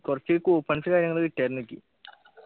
കുറച്ച് coupons കാര്യങ്ങള് കിട്ടിയാരുന്നു എനിക്ക്